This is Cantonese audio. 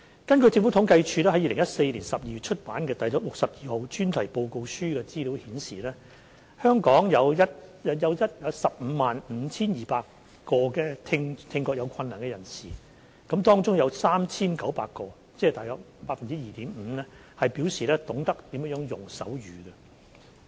根據政府統計處在2014年12月出版的《第62號專題報告書》的資料顯示，香港有 155,200 名聽覺有困難的人士，當中有 3,900 名，即大約 2.5% 表示懂得使用手語。